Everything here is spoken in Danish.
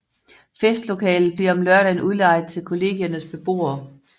Festlokalet bliver om lørdagen udlejet til Kollegiernes beboere